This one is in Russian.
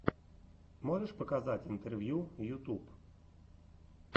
можешь показать интервью ютуб